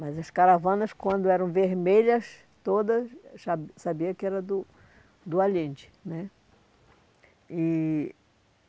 Mas as caravanas, quando eram vermelhas todas, eu já sabia que era do do Allende né. E